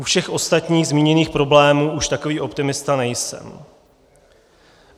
U všech ostatních zmíněných problémů už takový optimista nejsem.